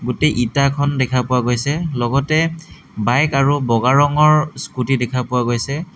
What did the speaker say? গোটেই ইটাখন দেখা পোৱা গৈছে লগতে বাইক আৰু বগা ৰঙৰ স্কুটি দেখা পোৱা গৈছে।